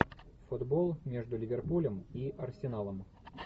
футбол между ливерпулем и арсеналом